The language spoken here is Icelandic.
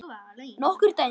Nokkur dæmi.